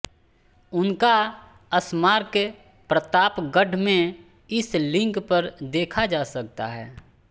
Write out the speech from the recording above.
उनका स्मारक प्रतापगढ़ में इस लिंक पर देखा जा सकता है